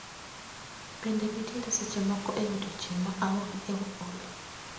Bende nitiere seche moko e odiechieng' ma aol Olly